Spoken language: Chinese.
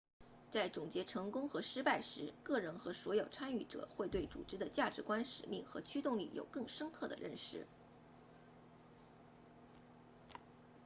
在总结成功和失败时个人和所有参与者会对组织的价值观使命和驱动力有更深刻的认识